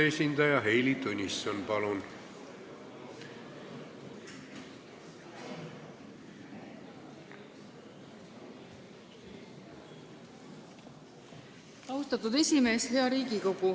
Hea Riigikogu!